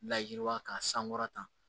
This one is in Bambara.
Layiwa k'a sankɔrɔta